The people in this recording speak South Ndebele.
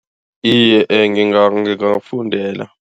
Iye, ngingawufundela.